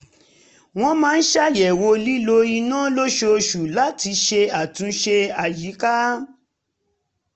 wọ́n máa ń ṣàyẹ̀wò lílò iná lóṣooṣù láti ṣe àtúnṣe àyíká